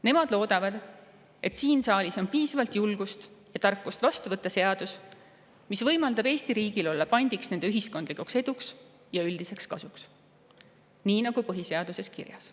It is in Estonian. Nemad loodavad, et siin saalis on piisavalt julgust ja tarkust vastu võtta seadus, mis võimaldab Eesti riigil olla pandiks nende ühiskondlikuks eduks ja üldiseks kasuks, nii nagu on põhiseaduses kirjas.